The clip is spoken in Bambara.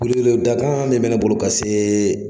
Welewele dakan dɔ bɛ ne bolo ka se